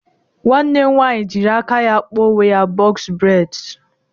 Nwanne m nwaanyị jịrị aka ya kpa onwe ya bọx breds